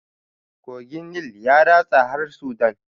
Kogin nil ya ratsa har sudan